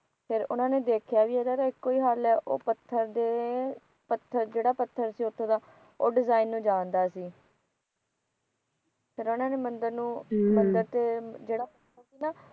ਫਿਰ ਉਹਨਾ ਦ ਨੇ ਦੇਖਿਆ ਕਿ ਇਹਦਾ ਤਾ ਇਕੋਂ ਹੀ ਹੱਲ ਹੈ ਉਹ ਪੱਥਰ ਦੇ ਜਿਹੜਾ ਪੱਥਰ ਸੀ ਉਥੋਂ ਦਾ ਉਹ ਡਿਜਾਇਨ ਨੂੰ ਜਾਣਦਾ ਸੀ ਫਿਰ ਉਹਨਾ ਨੇ ਮੰਦਰ ਨੂੰ ਮੰਦਰ ਤੇ ਜਿਹੜਾ ਪੱਥਰ ਸੀ ਨਾ